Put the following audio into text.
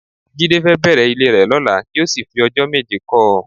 Jídé fẹ́ bẹ̀rẹ̀ ilé rẹ lọ́la kí ó sì fi ọjọ́ méje kọ́ ọ